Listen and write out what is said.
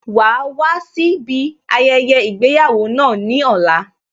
Wàá wá síbi ayẹyẹ ìgbéyàwó náà ní ọ̀la